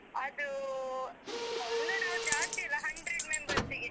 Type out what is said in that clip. ಅದು ಅಹ್ ಒಂದು ನಾವ್ ಜಾಸ್ತಿ ಇಲ್ಲ hundred members ಗೆ.